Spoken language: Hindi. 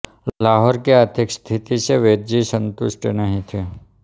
लाहौर की आर्थिक स्थिति से वैद्यजी सन्तुष्ट नहीं थे